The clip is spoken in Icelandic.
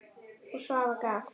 Og Svafa gaf.